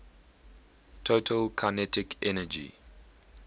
total kinetic energy